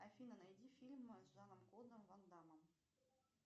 афина найди фильмы с жаном клодом ван даммом